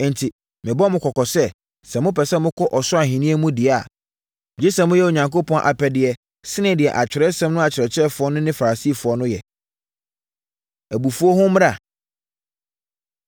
Enti, merebɔ mo kɔkɔ sɛ, sɛ mopɛ sɛ mokɔ ɔsoro ahennie mu deɛ a, gye sɛ moyɛ Onyankopɔn apɛdeɛ sene deɛ Atwerɛsɛm no akyerɛkyerɛfoɔ no ne Farisifoɔ no yɛ. Abufuo Ho Mmara